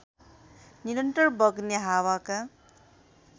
निरन्तर बग्ने हावाका